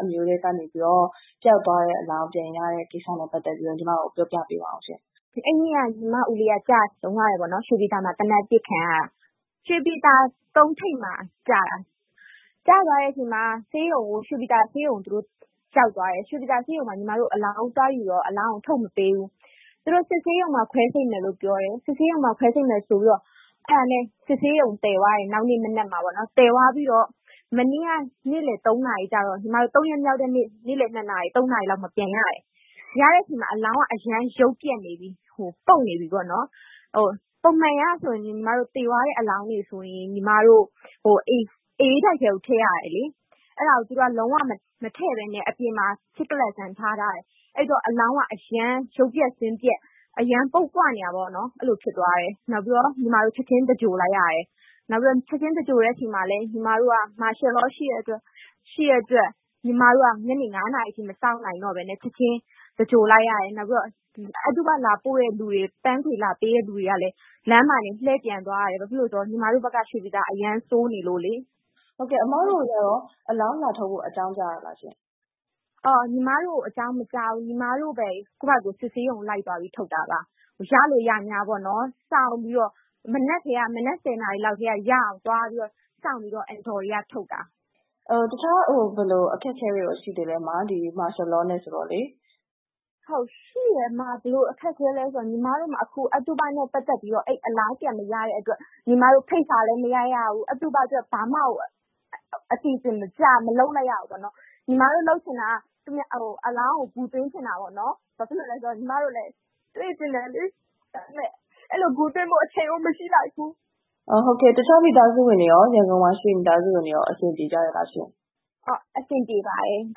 အမျိုးထဲကနေပြီးတော့ ပျောက်သွားတဲ့အလောင်းပြန်ရတဲ့ ကိစ္စနဲ့ပတ်သက်ပြီးတော့ ညီမကို ပြောပြပေးပါဦးရှင့်။ မိသားစုဝင်တဦး။ ။ အဲဒီနေ့က ညီမဦးလေးက ကျဆုံးသွားတယ်ပေါ့နော်... ရွှေပြည်သာမှာ သေနတ်ပစ်ခံရတာ။ ရွှေပြည်သာ ၃ ထိပ်မှာ ကျတာ။ ကျသွားတဲ့အချိန်မှာ ရွှေပြည်သာ ဆေးရုံကို ရောက်သွားတယ်။ ဆေးရုံမှာ အလောင်းသွားယူတော့ အလောင်းကို ထုတ်မပေးဘူး။ သူတို့ စစ်ဆေးရုံမှာ ခွဲစိတ်မယ်လို့ ပြောတယ်။ အဲဒါနဲ့ စစ်ဆေးရုံသယ်သွားတယ် နောက်နေ့မနက်မှာ။ သယ်သွားပြီးတော့ မနေ့က ၃ ရက်မြောက်တဲ့နေ့ နေ့လည် ၂ နာရီ၊ ၃ နာရီလောက်မှာ ပြန်ရတယ်။ ရတဲ့အချိန်မှာ အလောင်းက လုံးဝကို ရုပ်ပျက်နေပြီ၊ ပုပ်နေပြီပေါ့နော်။ ပုံမှန်အရဆိုရင် ညီမတို့ သေသွားတဲ့ အလောင်းဆိုရင် အအေးတိုက်ထဲကို ထည့်ရတယ်လေ။ အဲဒါကို သူတို့က လုံးဝမထည့်ဘဲနဲ့ အပြင်မှာ ဖြစ်ကလတ်ဆန်းထားထားတယ်။ အဲဒီတော့ အလောင်းက အရမ်းရုပ်ပျက်၊ ဆင်းပျက် အရမ်းပုပ်ပွနေတာပေါ့နော်။ နောက်ပြီးတော့ ညီမတို့ ချက်ချင်း သဂြိၤုလ်လိုက်ရတယ်။ ချက်ချင်းသဂြိၤုလ်တဲ့ဆီမှာလည်း martial law ရှိတဲ့အတွက် ညီမတို့က ညနေ ၅ နာရီအထိ မစောင့်နိုင်တော့ဘဲနဲ့ ချက်ချင်းသဂြိၤုလ်လိုက်ရတယ် နောက်ပြီးတော့ အသုဘလာတဲ့သူတွေ၊ ပန်းခွေလာပေးတဲ့သူတွေကလည်း လမ်းမှာတင် လှည့်ပြန်သွားရတယ်။ ဘာဖြစ်လို့လည်းဆိုတော့ ညီမတို့ဘက်က ရွှေပြည်သာက အရမ်းဆိုးနေလို့လေ။ မအိသန့်စင်။ ။ ဟုတ်ကဲ့၊ အမတို့ကို အလောင်းလာထုတ်ဖို့ အကြောင်းကြားတာလာရှင့်။ မိသားစုဝင်တဦး။ ။ ညီမတို့ကို အကြောင်းမကြားဘူး။ ညီမတို့ပဲ ကိုယ့်ဘာ့သာကိုယ် စစ်ဆေးရုံလိုက်သွားပြီးထုတ်တာပါ။ ရလို ရငြားပေါ့နော်.... စောင့်ပြီးတော့ မနက် ၁၀ နာရီလောက်ကတည်းက ရအောင်သွားပြီးတော့၊ စောင့်ပြီးတော့ အဒေါ်တွေက ထုတ်တာ။ မအိသန့်စင်။ ။ တခြားဘယ်လို အခက်အခဲတွေရော ရှိသေးလဲ အမ... ဒီ martial law နဲ့ ဆိုတော့လေ။ မိသားစုဝင်တဦး။ ။ ဟုတ်... ရှိတယ်အမ။ ဘယ်လို အခက်အခဲလဲ... ဆိုတော့ ညီမတို့မှာ အဲဒီ အသုဘနဲ့ ပတ်သက်ပြီးတော့ အလောင်းပြန်မရတဲ့အတွက် ဖိတ်စာလည်း မရိုက်ရဘူး။ ဘာမှကို အသုဘကို အစီအစဉ်တကျ မလုပ်လိုက်ရဘူးပေါ့နော်။ ညီမတို့လုပ်ချင်တာက အလောင်းကို ဂူသွင်းချင်တာပေါ့နော်။ ဘာဖြစ်လို့လည်းဆိုတော့ ညီမတို့လည်း တွေ့ချင်တယ်လေ။ ဒါပေမဲ့အဲဒီလို ဂူသွင်းဖို့ အချိန်ကို မရှိလိုက်ဘူး။ မအိသန့်စင်။ ။ တခြား ရန်ကုန်မှာ ရှိတဲ့ မိသားစုဝင်တွေရော အဆင်ပြေကြရဲ့လားရှင့်။ မိသားစုဝင်တဦး။ ။ ဟုတ်။ အဆင်ပြေပါတယ်။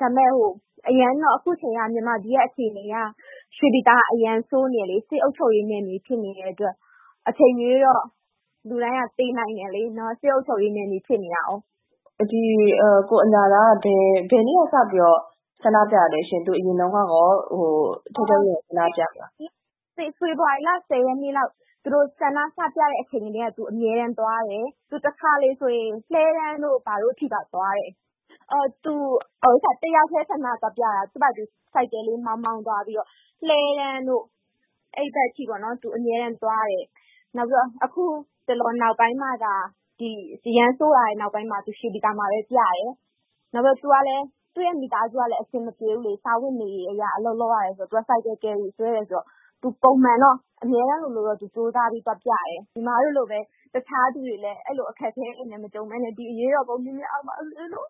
ဒါပေမဲ့ အခုချိန်က မြန်မာပြည်ရဲ့ အခြေအနေအရ ရွှေပြည်သာက အရမ်းဆိုးနေတယ်လေ။ စစ်အုပ်ချုပ်ရေးနယ်မြေ ဖြစ်နေတဲ့အတွက် အချိန်မရွေးတော့ လူတိုင်းက သေနိုင်တယ်လေ... စစ်အုပ်ချုပ်ရေးနယ်မြေ ဖြစ်နေတာကိုး။ မအိသန့်စင်။ ။ ဒီကိုအညာသားက ဘယ်နေ့ကစပြီးတော့ ဆန္ဒပြတာလဲရှင့်။ သူအရင်တုန်းကရော ထဲထဲဝင်ဝင် ဆန္ဒပြလား။ မိသားစုဝင်တဦး။ ။ ဖေဖော်ဝါရီလ ၁၀ ရက်နေ့လောက် ဆန္ဒပြနေကြတဲ့ အချိန်ကတည်းက သူအမြဲတမ်းသွားတယ်။ သူတခါတလေဆိုရင် လှည်းတန်းတို့၊ ဘာတို့အထိပါ သွားတယ်။ သူတယောက်တည်း ဆန္ဒသွားပြတာ။ သူ့ဘာ့သာသူ ဆိုင်ကယ်လေး မောင်းမောင်းသွားပြီးတော့... လှည်းတန်းတို့ အဲဒီဘက်အထိပေါ့နော်... သူအမြဲတမ်းသွားတယ်။ အခု အရမ်းဆိုးလာတဲ့ နောက်ပိုင်းမှသာ ရွှေပြည်သာမှာပဲ ပြတယ်။ သူ့ရဲ့ မိသားစုကလည်း အဆင်မပြေဘူးလေ... စားဝတ်နေရေးအရ သူအလုပ်လုပ်ရတယ်... ဆိုင်ကယ်ကယ်ရီဆွဲတယ်ဆိုတော့ ပုံမှန်တော့ အမြဲတမ်းလိုလိုတော့ ကြိုးစားပြီး သွားပြတယ်။ ညီမတို့လိုပဲ တခြားသူတွေလည်း အဲဒီလို အခက်အခဲမကြုံဘဲနဲ့ ဒီအရေးတော်ပုံ မြန်မြန်အောင်ပါစေလို့